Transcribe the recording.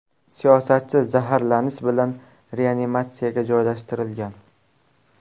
Siyosatchi zaharlanish bilan reanimatsiyaga joylashtirilgan.